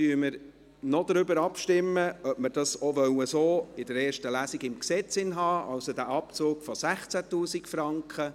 Nun stimmen wir darüber ab, ob wir das in der ersten Lesung so im Gesetz haben wollen, also diesen Abzug von 16 000 Franken.